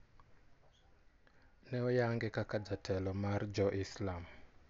Ne oyang'e kaka jatelo mar jo Islam.